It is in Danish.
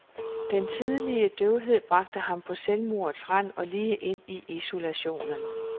Den tidlige døvhed bragte ham på selvmordets rand og lige ind i isolationen.